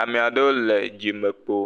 ame aɖewo le dzime kpo.